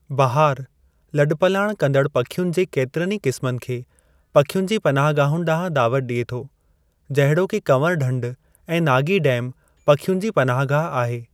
बहारु, लॾ पलाण कंदड़ु पखियुनि जे केतिरनि ई क़िस्मनि खे पखियुनि जी पनाहगाहन ॾांहुं दावत ॾिए थो जहिड़ोकि कंवरु ढंढ ऐं नागी डैम पखियुनि जी पनाह गाह आहे।